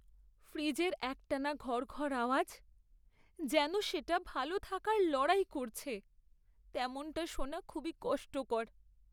ফ্রিজের একটানা ঘড়ঘড় আওয়াজ, যেন সেটা ভালো থাকার লড়াই করছে, তেমনটা শোনা খুবই কষ্টকর।